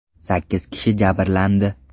Sakkiz kishi jabrlandi.